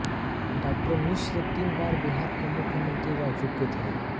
डा मिश्र तीन बार बिहार के मुख्यमंत्री रह चुके थे